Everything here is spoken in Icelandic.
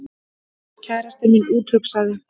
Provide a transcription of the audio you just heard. Kærastinn minn úthugsaði